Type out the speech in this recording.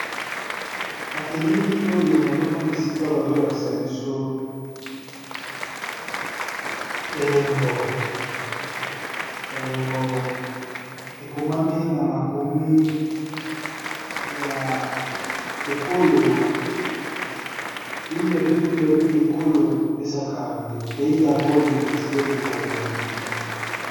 na elili oyo nazomona esika bazolakisa biso elembo elembo ekomami na makumi yaww ekolo 1040 pei dabord lecotide de kongolei